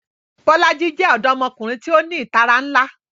Bolaji jẹ ọdọmọkunrin ti o ni itara nla